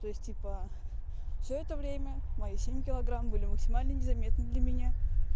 то есть типа всё это время мои семь килограмм были максимально незаметны для меня